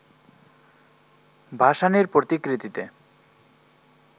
ভাসানির প্রতিকৃতিতে